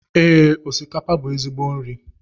Ee, osikapa bú ezigbo nri